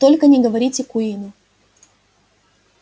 только не говорите куинну